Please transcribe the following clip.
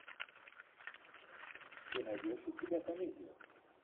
ты найдешь у себя комедию